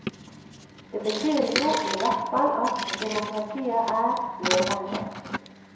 Det betyr jo i hvert fall at demokratiet er levende.